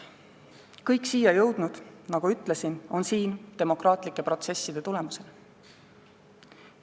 Kõik siia jõudnud, nagu ütlesin, on siin demokraatlike protsesside tulemusena.